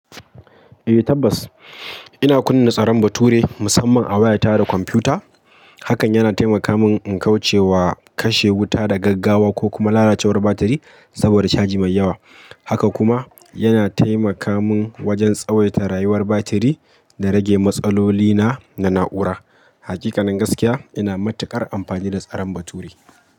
Eh tabbas, ina kunna tsaron bature musamman a waya ta da kwamfuta. Hakan yana taimaka min in kauce wa kashe wuta da gaggawa ko kuma lalacewar batiri saboda caji mai yawa. Haka kuma yana taimaka min wajen tsawaita rayuwar batiri da rage matsalolina na na'ura. Hakikanin gaskiya, ina matukar amfani da tsaron bature.